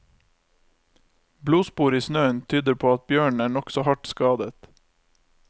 Blodspor i snøen tyder på at bjørnen er nokså hardt skadet.